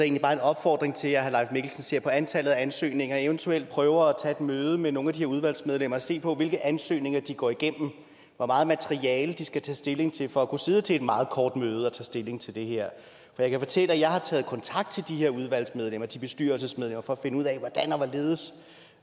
en opfordring til at herre leif mikkelsen ser på antallet af ansøgninger og eventuelt prøver at tage et møde med nogle af de her udvalgsmedlemmer og se på hvilke ansøgninger de går igennem og hvor meget materiale de skal tage stilling til for at kunne sidde til et meget kort møde og tage stilling til det her jeg kan fortælle at jeg har taget kontakt til de her udvalgsmedlemmer og til bestyrelsesmedlemmer for at finde ud af hvordan og hvorledes